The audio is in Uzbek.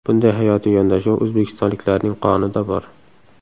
Bunday hayotiy yondashuv o‘zbekistonliklarning qonida bor.